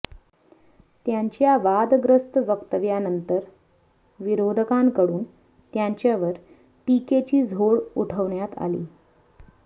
त्यांच्या वादग्रस्त वक्तव्यानंतर विरोधकांकडून त्यांच्यावर टीकेची झोड उठवण्यात आली